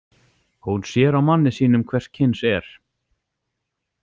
Hún sér á manni sínum hvers kyns er.